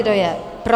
Kdo je pro?